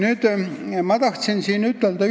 Ühte asja tahan veel ütelda.